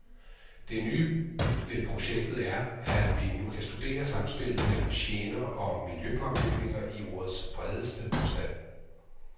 Det nye ved projektet er, at vi nu kan studere samspillet mellem gener og miljøpåvirkninger i ordets bredeste forstand.